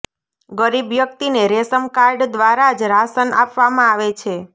ગરીબ વ્યક્તિને ration card દ્વારા જ રાશન આપવામાં આવે છે